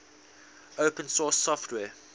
open source software